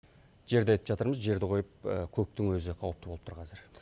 жерді айтып жатырмыз жерді қойып көктің өзі қауіпті болып тұр қазір